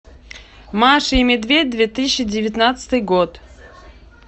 маша и медведь две тысячи девятнадцатый год